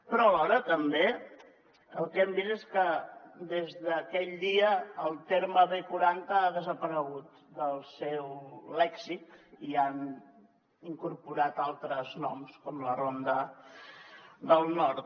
però alhora també el que hem vist és que des d’aquell dia el terme b quaranta ha desaparegut del seu lèxic i han incorporat altres noms com la ronda del nord